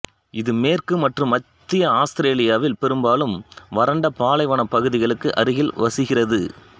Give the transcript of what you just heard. இது மேற்கு மற்றும் மத்திய ஆஸ்திரேலியாவில் பெரும்பாலும் வறண்ட பாலைவன பகுதிகளுக்கு அருகில் வசிக்கிறது